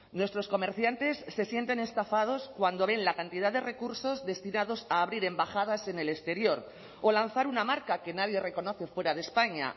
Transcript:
nuestros comerciantes se sienten estafados cuando ven la cantidad de recursos destinados a abrir embajadas en el exterior o lanzar una marca que nadie reconoce fuera de españa